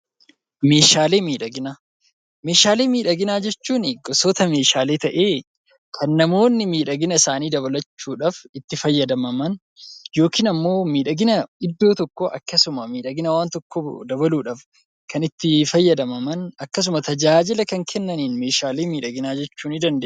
Meeshaalee miidhaginaa. Meeshaalee miidhaginaa jechuun gosotaa meeshaalee ta'ee kan namoonni miidhagina isaanii dabalachuudhaaf itti fayyadaman yookiin immoo miidhagina iddoo tokkoo akkasumas miidhagina waan tokkoo dabaluudhaaf kan itti fayyadaman akkasumas tajaajila kan kennaniin meeshaalee miidhaginaa jechuu ni dandeenya.